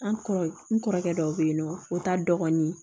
An kɔrɔ n kɔrɔkɛ dɔ be yen nɔ o ta dɔgɔnin